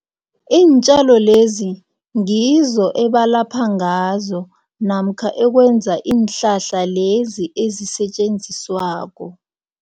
Iintjalo lezi ngizo ebalapha ngazo namkha ekwenza iinhlahla lezi ezisetjenziswako.